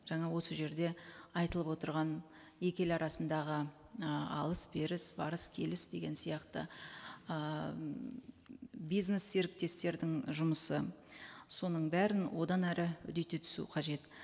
жаңа осы жерде айтылып отырған екі ел арасындағы ы алыс беріс барыс келіс деген сияқты ы м бизнес серіктестердің жұмысы соның бәрін одан әрі үдете түсу қажет